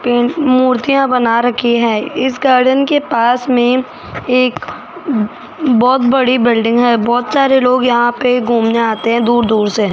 मूर्तियां बना रखी है इस गार्डन के पास में एक ब बहोत बड़ी बिल्डिंग है बहोत सारे लोग यहां पे घूमने आते हैं दूर दूर से।